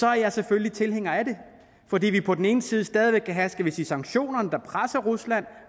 er jeg selvfølgelig tilhænger af det fordi vi på den ene side stadig væk kan have skal vi sige sanktionerne der presser rusland